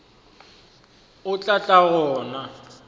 o tla tla go nna